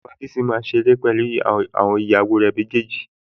Bàbá Bísí máa ń ṣeré pẹ̀lú àwọn ìyàwó rẹ̀ méjèèjì